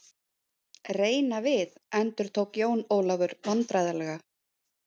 Reyna við endurtók Jón Ólafur vandræðalega.